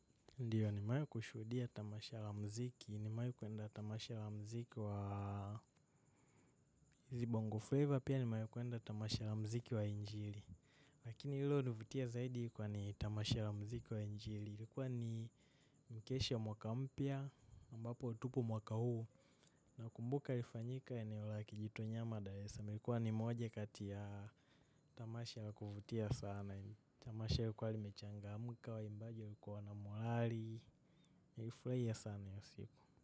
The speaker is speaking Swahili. Ndiyo nimai kushudia tamasha la mziki, nimai kuenda tamasha la mziki wa hizi bongo flavor pia nimai kuenda tamasha la mziki wa injili. Lakini lilo nivutia zaidi ilikuwa ni tamasha la mziki wa injili. Ilikuwa ni mkesha wa mwaka mpya, ambapo tupo mwaka huu. Nakumbuka ilifanyika eneo la kijitu nyama daresa. Ilikuwa ni moja kati ya tamasha ya kuvutia sana. Tamasha lilikuwa limechangamka waimbaji walikuwa wanamohali nilifurahia sana hiyo siku.